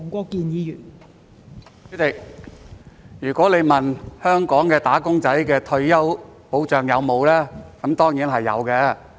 代理主席，如果你問香港"打工仔"有沒有退休保障，那當然是有的。